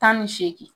Tan ni seegin